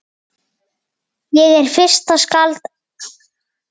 Ég er fyrsta skáld á